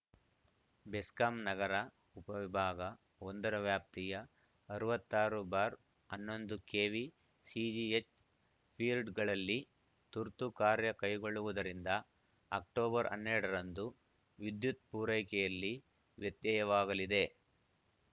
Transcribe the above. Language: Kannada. ಬೆಸ್ಕಾಂ ನಗರ ಉಪ ವಿಭಾಗ ಒಂದ ರ ವ್ಯಾಪ್ತಿಯ ಅರವತ್ತ್ ಆರು ಬಾರ್ ಹನ್ನೊಂದು ಕೆವಿ ಸಿಜಿಎಚ್‌ ಫೀರ್ಡ್ ಗಳಲ್ಲಿ ತುರ್ತು ಕಾರ್ಯ ಕೈಗೊಳ್ಳುವುದರಿಂದ ಅಕ್ಟೋಬರ್ ಹನ್ನೆರಡ ರಂದು ವಿದ್ಯುತ್‌ ಪೂರೈಕೆಯಲ್ಲಿ ವ್ಯತ್ಯಯವಾಗಲಿದೆ